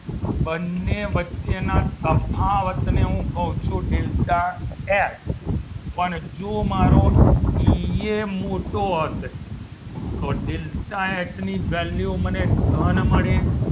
બંને વચ્ચેના તફાવતને હું કહું છું delta એસ પણ જો મારો ઈ એ મોટો હશે તો ડેલ્ટા એચ ની value મને ધન મળે